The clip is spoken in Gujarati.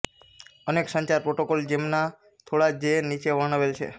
અનેક સંચાર પ્રોટોકોલો છે જેમના થોડા જે નીચે વર્ણવેલ છે